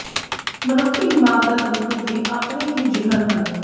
ਮਨੁੱਖੀ ਦਿਮਾਗ਼ ਦਾ ਤੰਤੂ ਵੀ ਆਪਣੇ ਹੀ ਿਜਹਨ ਹਨ